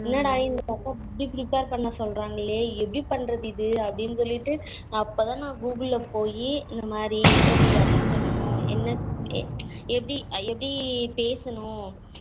என்னடா இவங்க இப்படி prepare பண்ண சொல்லுறங்களே எப்படி பண்ணுறது இது அப்படினு சொல்லிட்டு அப்போதான் நா google போய்யி இந்த மாறி interview attend பண்ணனும் என்ன எப்படி எப்படி பேசணும்